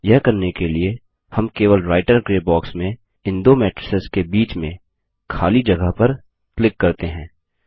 यह करने के लिए हम केवल राईटर ग्रे बॉक्स में इन दो मैट्रिसेस के बीच में खाली जगह पर क्लिक करते हैं